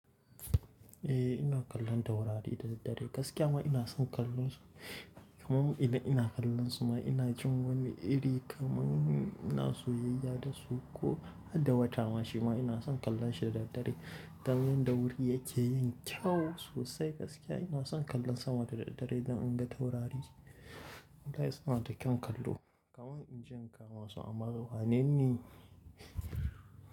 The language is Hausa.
Eh ina kallon taurari da daddare. Gaskiya ma ina son kallon su. Kaman idan, ina kallon su ma ina jin wani iri kaman ina soyayya da su ko hadda wata. Ma shi ma ina son kallon shi da daddare. Dan yanda wuri yake yin kyau sosai gaskiya ina son kallon sama da daddare don in ga taurari. Wallahi suna da kyan kallo. Kaman inje in kama su amma wane ni?